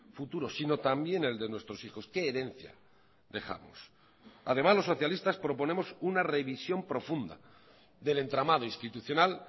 futuro sino también el de nuestros hijos qué herencia dejamos además los socialistas proponemos una revisión profunda del entramado institucional